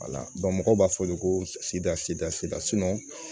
mɔgɔw b'a fɔ olu ko sidisidasida